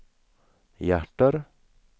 hjärter